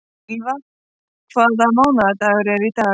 Ylva, hvaða mánaðardagur er í dag?